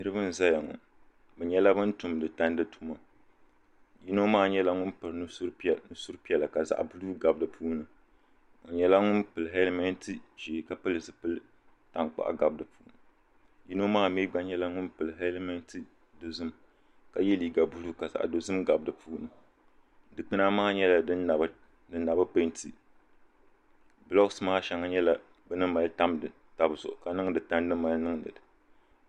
niriba n-zaya ŋɔ bɛ nyɛla bana tumdi tandi tuma yino maa nyɛla ŋuni piri nusur’ piɛ-la ka zaɣ’ buluu gabi di puuni o nyɛla ŋuni pili hɛlimenti ʒee ka pili zupil’ taŋkpaɣu gabi di puuni yino maa mi gba nyɛla ŋuni pili hɛlimenti dozim ka ye liiga buluu ka zaɣ’ dozim gabi di puuni dikpuna maa nyɛla din na bi peenti bulookunima maa shɛŋa nyɛla bɛ ni mali tamdi taba zuɣu ka niŋdi tandi mali